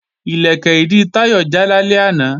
Ìlẹ̀kẹ̀ ìdí Táyọ̀ já lálẹ́ àná